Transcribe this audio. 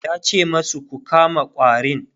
yace masu "Ku kama ƙwarin!"